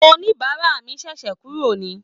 Oníbàárà mi ṣẹ̀ṣẹ̀ kúrò ni